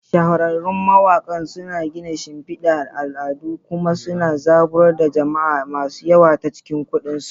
Shahararrun mawakan suna gina shimfidar al'adu kuma suna zaburar da jama'a masu yawa ta cikin kundin su.